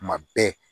Tuma bɛɛ